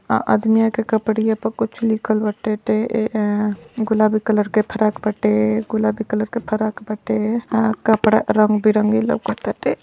और आदमिया के कपड़िया पर कुछ लिखल बाटे टे। एह गुलाबी कलर का फराक फ्रॉक बाटे गुलाबी कलर के फराक फ्रॉक बाटे। अह कपड़ा रंग बिरंगी लोकताटे।